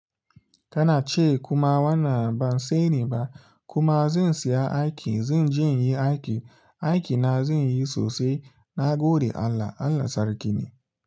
Kana ce kuma wannan ban sani ba kuma zan siya aiki zan je in yi aiki. Aiki na zan yi sosai. Na gode Allah, Allah Sarki ne.